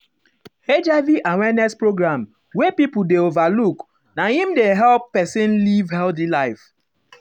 hiv awareness program wey people dey um overlook na im dey help person live healthy life. healthy life.